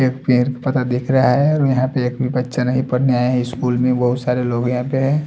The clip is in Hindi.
एक पेर पता दिख रहा है और यहाँ पे एक भी बच्चा नहीं पढ़ने आए स्कूल में बहुत सारे लोग यहाँ पे है।